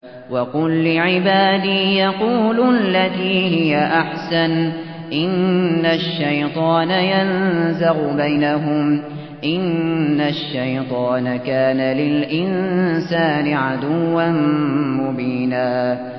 وَقُل لِّعِبَادِي يَقُولُوا الَّتِي هِيَ أَحْسَنُ ۚ إِنَّ الشَّيْطَانَ يَنزَغُ بَيْنَهُمْ ۚ إِنَّ الشَّيْطَانَ كَانَ لِلْإِنسَانِ عَدُوًّا مُّبِينًا